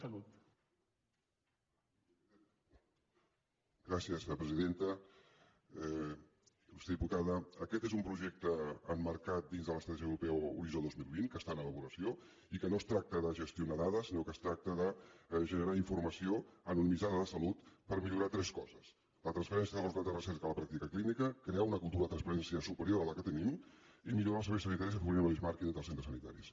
il·lustre diputada aquest és un projecte emmarcat dins de l’estratègia europea horitzó dos mil vint que està en elaboració i que no es tracta de gestionar dades sinó que es tracta de generar informació en un mitjà de salut per millorar tres coses la transferència de les dades recents de la pràctica clínica crear una cultura de transparència superior a la que tenim i millorar els serveis sanitaris afavorint el benchmarking entre els centres sanitaris